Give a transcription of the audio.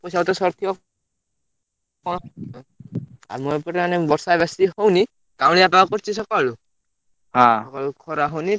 ପଇସା ପତ୍ର ସରୁଥିବ ହଁ ଆମ ଏପଟରେ ମାନେ ବର୍ଷା ବେଶୀ ହଉନି କାଉଁଳିଆ ପାଗ କରୁଛି ସଖାଳୁ ସଖାଳୁ ଖରା ହଉନି।